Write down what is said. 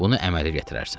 Bunu əmələ gətirərsən.